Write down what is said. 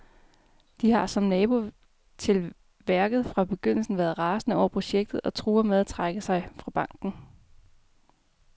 De har, som nabo til værket, fra begyndelsen været rasende over projektet og truer med at trække sig fra banken.